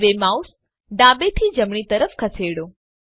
હવે માઉસ ડાબેથી જમણી તરફ ખસેડો